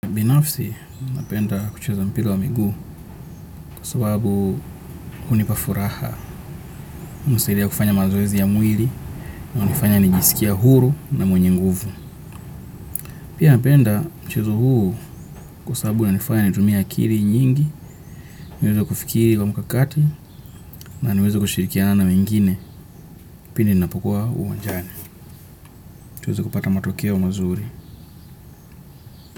Binafsi napenda kucheza mpira wa miguu kwa sababu hunipa furaha hunisaidia kufanya mazoezi ya mwili hunifanya nijisikia huru na mwenye nguvu. Pia napenda mchezo huu kwa sababu una nifanya nitumie akili nyingi, niweze kufikiri kwa mkakati na niweze kushirikiana na wengine pia ninapokua uwanjani. Tuweze kupata matokeo mazuri.